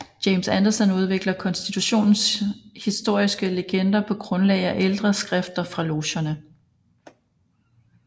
James Anderson udvikler konstitutionens historiske legender på grundlag af ældre skrifter fra logerne